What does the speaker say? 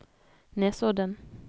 Nesodden